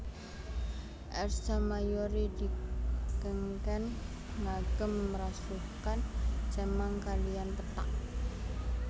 Ersa Mayori dikengken ngagem rasukan cemeng kaliyan pethak